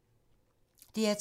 DR2